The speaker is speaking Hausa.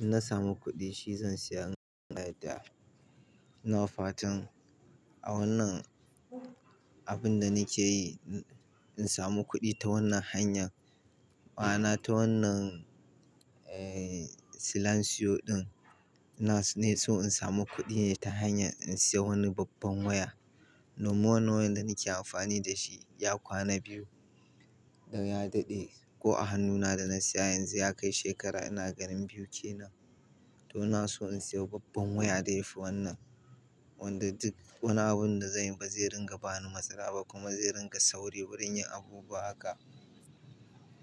Inna samu kuɗi shi zan saya. Ina fatan a wannan abun da nake yi, in samu kuɗi ta wannan hanyan, ma'ana ta wannan, eh, silansiwo ɗin, na, ne so in samu kuɗi ta hanya in saya wani babban waya. Wannan wayan da nake amfani da shi ya kwana biyu don ya daɗe. Ko a hannuna da na saya yanzu ya kai shekara ina ganin biyu kenan. To ina so in sayo babban waya da ya fi wannan. Wanda duk wani abun da zanyi ba zai ringa bani matsala ba kuma zai ringa sauri wurin yin abubuwa haka.